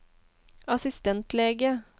assistentlege